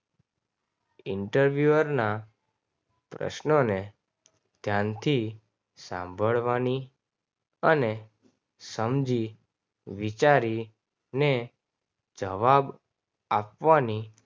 interview ના પ્રશ્નોને ધ્યાનથી સાંભળવાની અને સમજી વિચારીને જવાબ આપવાની